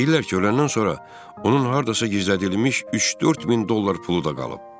Deyirlər ki, öləndən sonra onun hardasa gizlədilmiş 3-4 min dollar pulu da qalıb.